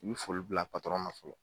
U bɛ foli bila patɔrɔn ma fɔlɔ.